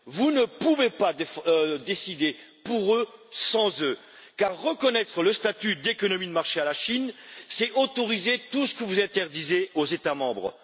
Vous ne pouvez pas décider pour eux, sans eux, car reconnaître le statut d'économie de marché à la Chine, c'est autoriser tout ce que vous interdisez aux États membres.